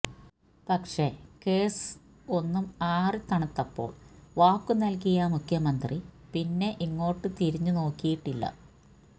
പക്ഷെ കെസ് ഒന്ന് ആറി തണുത്തപ്പോള് വാക്കു നല്കിയ മുഖ്യമന്ത്രി പിന്നെ ഇങ്ങോട്ട് തിരിഞ്ഞ് നോക്കിയിട്ടില്ല